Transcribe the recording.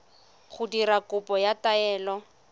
go dira kopo ya taelo